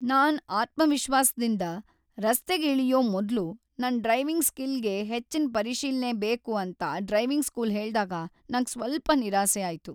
ನಾನ್ ಆತ್ಮವಿಶ್ವಾಸದಿಂದ್ ರಸ್ತೆಗೆ ಇಳಿಯೋ ಮೊದ್ಲು ನನ್ ಡ್ರೈವಿಂಗ್ ಸ್ಕಿಲ್ ಗೆ ಹೆಚ್ಚಿನ್ ಪರಿಶೀಲ್ನೆ ಬೇಕು ಅಂತ ಡ್ರೈವಿಂಗ್ ಸ್ಕೂಲ್ ಹೇಳ್ದಾಗ ನಂಗ್ ಸ್ವಲ್ಪ ನಿರಾಸೆ ಆಯ್ತು.